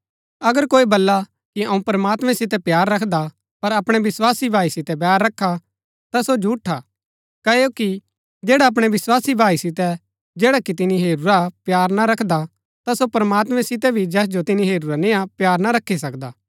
अगर कोई बल्ला कि अऊँ प्रमात्मैं सितै प्‍यार रखदा पर अपणै विस्वासी भाई सितै बैर रखा ता सो झूठा क्ओकि जैडा अपणै विस्वासी भाई सितै जैडा कि तिनी हेरूरा प्‍यार ना रखदा ता सो प्रमात्मैं सितै भी जैस जो तिनी हेरूरा निआं प्‍यार ना रखी सकदा